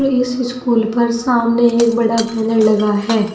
इस स्कूल पर सामने एक बड़ा बैनर लगा है।